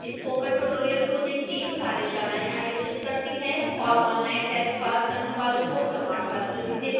spoken tutorial project team कार्यशालाएं आयोजित करती है और ऑनलाइन टेस्ट पास करने वालों को प्रमाणपत्र भी देती है